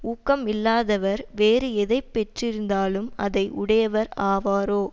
ஊக்கம் இல்லாதவர் வேறு எதை பெற்றிருந்தாலும் அதை உடையவர் ஆவாரோ